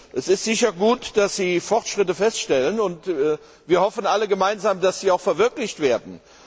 Es ist sicherlich gut, dass Sie Fortschritte feststellen, und wir hoffen alle gemeinsam, dass sie auch verwirklicht werden.